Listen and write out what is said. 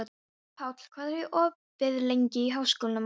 Páll, hvað er opið lengi í Háskólanum á Hólum?